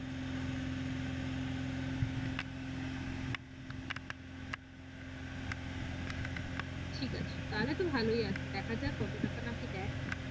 ঠিক আছে তাহলে তো খুব ভালোই আছে দেখা যাক কত টাকা নাকি দেয়।